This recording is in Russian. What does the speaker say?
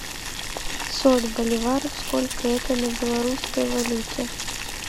пятьсот боливаров сколько это на белорусской валюте